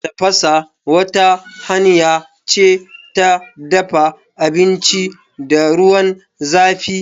Tafasa wata hanya ce ta dafa abinci da ruwan zãfi.